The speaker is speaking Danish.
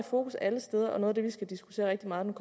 fokus alle steder og noget af det vi skal diskutere rigtig meget